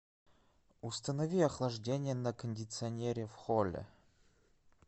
установи охлаждение на кондиционере в холле